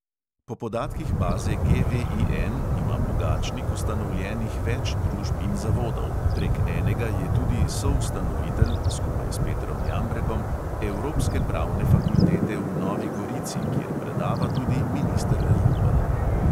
Po podatkih baze GVIN ima pogačnik ustanovljenih več družb in zavodov; prek enega je tudi soustanovitelj (skupaj s petrom jambrekom) evropske pravne fakultete v novi gorici, kjer predava tudi minister rupel.